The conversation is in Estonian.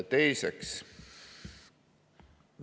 Teiseks.